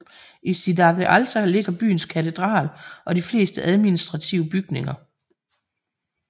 I Cidade Alta ligger byens katedral og de fleste administrative bygninger